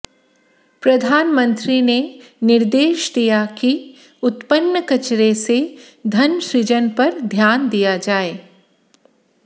प्रधानमंत्री ने निर्देश दिया कि उत्पन्न कचरे से धन सृजन पर ध्यान दिया जाए